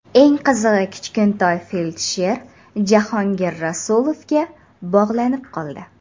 Eng qizig‘i Kichkintoy feldsher Jahongir Rasulovga bog‘lanib qoldi.